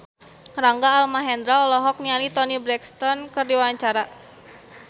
Rangga Almahendra olohok ningali Toni Brexton keur diwawancara